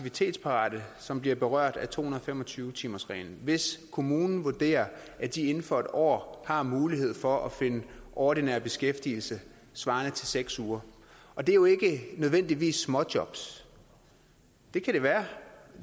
aktivitetsparate som bliver berørt af to hundrede og fem og tyve timersreglen hvis kommunen vurderer at de inden for en år har mulighed for at finde ordinær beskæftigelse svarende til seks uger og det er jo ikke nødvendigvis småjobs det kan det være og